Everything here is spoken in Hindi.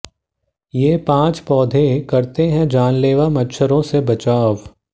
ये पांच पौधे करते हैं जानलेवा मच्छरों से बचाव